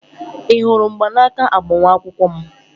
Ị hụrụ mgbanaka agbamakwụkwọ m?